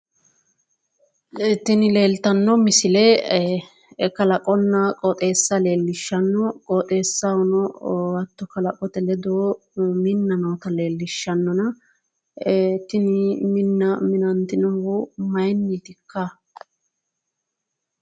Tini leeltanno misile kalaqonna qooxeessa leellishanno, qooxeessahono hatto kalaqote ledo minna noota leellishshannona, tini minna minantinohu maayiinniitikka?